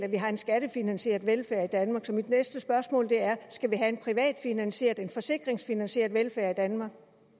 at vi har en skattefinansieret velfærd i danmark så mit næste spørgsmål er skal vi have en privatfinansieret en forsikringsfinansieret velfærd i danmark